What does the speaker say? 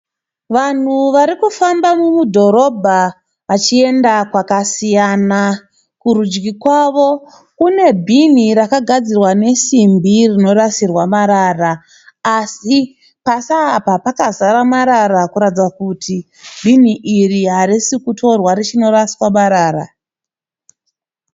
Vanhu varikufamba mudhorobha vachienda kwakasiyana. Kurudyi kwavo kune bhini rakagadzirwa nesibhi rinorasirwa marara. Asi pasi apa pakazara marara kuratidza kuti bhini iri harisi kutorwa richinoraswamarara.